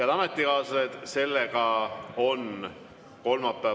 Head ametikaaslased, kolmapäevane istung on lõppenud.